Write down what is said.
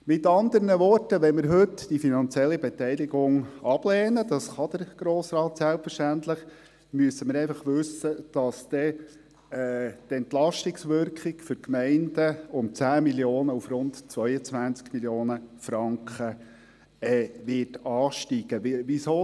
Mit anderen Worten: Lehnen wir heute die finanzielle Beteiligung ab, was der Grosse Rat selbstverständlich tun kann, müssen wir wissen, dass die Entlastungswirkung für die Gemeinden um 10 Mio. Franken auf rund 22 Mio. Franken steigen wird.